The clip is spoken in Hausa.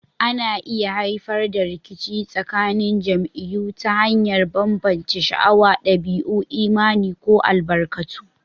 Ana iya haifar da rikici tsakanin jam'iyyu ta hanyar bambancen sha'awa, dabi'u, imani, ko albarkatu.